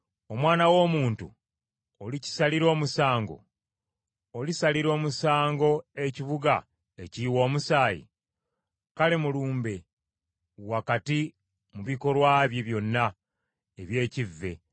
“Omwana w’omuntu, olikisalira omusango? Olisalira omusango ekibuga ekiyiwa omusaayi? Kale mulumbe wakati mu bikolwa bye byonna eby’ekivve;